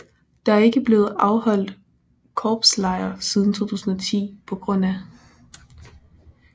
Der er ikke blevet afholdt korpslejr siden 2010 pga